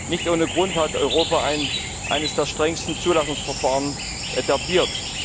Nicht ohne Grund hat Europa eines der strengsten Zulassungsverfahren etabliert.